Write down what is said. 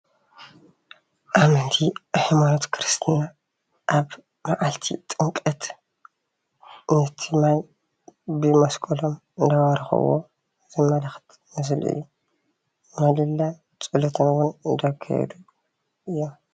ኣመንቲ ሃይማኖት ክርስትና ኣብ መዓልቲ ጥምቀት ነቲ ማይ ብመሰቀሎም እንዳባረክዎ ዘመላክት ምስሊ እዩ፡፡ ምህለላን ፀሎት እውን እንዳካየዱ እዮም፡፡